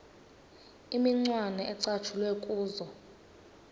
imicwana ecatshulwe kuzo